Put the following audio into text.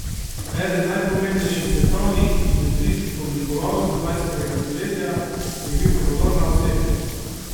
Eden najpomembnejših svetovnih industrijskih oblikovalcev dvajsetega stoletja je bil prodorna osebnost.